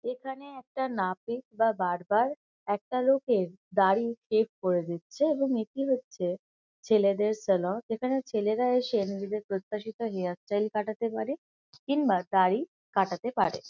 এখানে একটা নাপিত বা বার্বার একটা লোকের দাড়ি শেভ করে দিচ্ছে এবং এটি হচ্ছে ছেলেদের সেলন এখানে ছেলেরা এসে নিজেদের প্রত্যাশিত হেয়ার স্টাইল কাঁটাতে পারে কিংবা দাড়ি কাটাতে পারে।